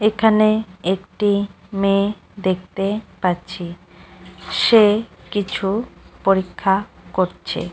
এখানে একটি মেয়ে দেখতে পাচ্ছি সে কিছু পরীক্ষা করছে ।